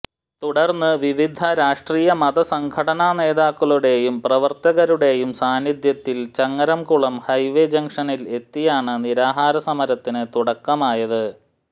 തുടർന്ന് വിവിധ രാഷ്ട്രീയ മത സംഘടനാ നേതാക്കളുടെയും പ്രവർത്തകരുടെയും സാന്നിധ്യത്തിൽ ചങ്ങരംകുളം ഹൈവേ ജംഗ്ഷനിൽ എത്തിയാണ് നിരാഹാര സമരത്തിന് തുടക്കമായത്